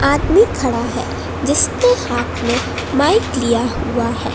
आदमी खडा़ है जिसने हाथ में माईक लिया हुआ है।